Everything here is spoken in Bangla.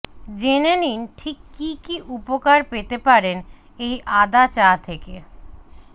জেনে নিন ঠিক কী কী উপকার পেতে পারেন এই আদা চা থেকে